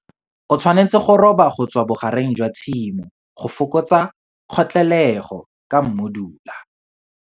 O tshwanetse go roba go tswa bogareng jwa tshimo go fokotsa kgotlelego ka mmudula.